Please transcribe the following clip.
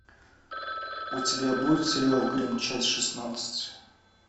у тебя будет сериал гримм часть шестнадцать